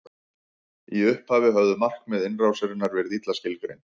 í upphafi höfðu markmið innrásarinnar verið illa skilgreind